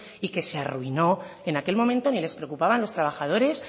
y que se arruinó en aquel momento ni les preocupaba los trabajadores